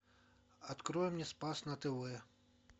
открой мне спас на тв